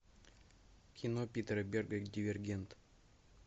кино питера берга дивергент